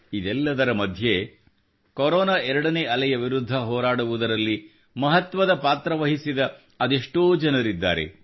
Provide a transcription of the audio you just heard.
ಇದೆಲ್ಲದರ ಮಧ್ಯೆ ಕೊರೊನಾ 2ನೇ ಅಲೆಯ ವಿರುದ್ಧ ಹೋರಾಡುವುದರಲ್ಲಿ ಮಹತ್ವದ ಪಾತ್ರ ವಹಿಸಿದ ಅದೆಷ್ಟೋ ಜನರಿದ್ದಾರೆ